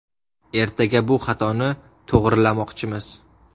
Ertaga bu xatoni to‘g‘rilamoqchimiz.